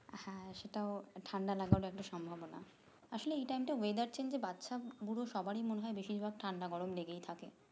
হ্যাঁ, সেটাও ঠান্ডা লাগার একটা সম্ভবনা আসলে এই time টা weather change এ বাচ্চা বুড়ো সবারই মনে হয় বেশির ভাগ ঠান্ডা গরম লেগেই থাকে